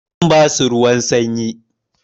Zan basu ruwan sanyi.